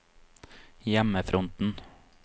hjemmefronten